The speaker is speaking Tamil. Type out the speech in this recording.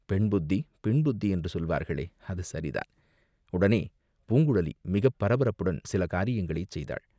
பெண்புத்தி பின்புத்தி, என்று சொல்வார்களே, அது சரிதான், உடனே பூங்குழலி மிகப் பரபரப்புடன் சில காரியங்களைச் செய்தாள்.